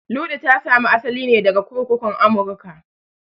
Luɗu ta sami asali ne daga kurkukun Amurka